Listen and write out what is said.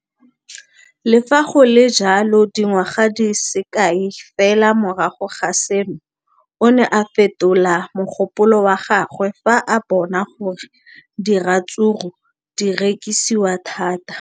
Le fa go le jalo, dingwaga di se kae fela morago ga seno, o ne a fetola mogopolo wa gagwe fa a bona gore diratsuru di rekisiwa thata.